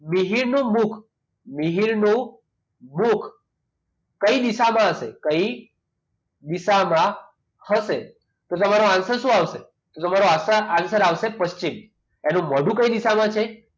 મિહિરનું મુખ મિહિર નું મુખ કઈ દિશામાં હશે? કઈ દિશામાં હશે તો તમારો answer શું આવશે તો તમારો answer આવશે પશ્ચિમ એનું મોઢું કઈ દિશામાં છે?